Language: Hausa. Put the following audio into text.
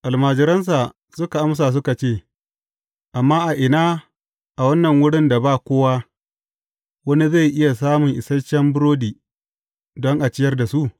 Almajiransa suka amsa suka ce, Amma a ina, a wannan wurin da ba kowa, wani zai iya samun isashen burodi, don a ciyar da su?